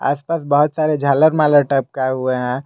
आसपास बहुत सारे झालर मालर टपकाए हुए है।